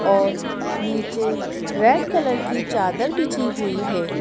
और नीचे red colour की चादर बिछी हुई है।